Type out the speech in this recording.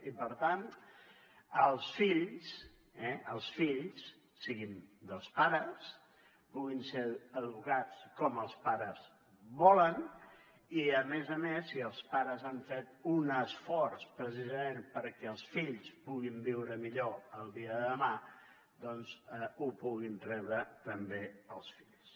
i per tant els fills siguin dels pares puguin ser educats com els pares volen i a més a més si els pares han fet un esforç precisament perquè els fills puguin viure millor el dia de demà doncs ho puguin rebre també els fills